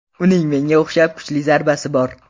Uning menga o‘xshab kuchli zarbasi bor.